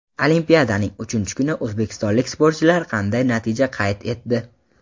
Olimpiadaning uchinchi kuni o‘zbekistonlik sportchilar qanday natija qayd etdi?.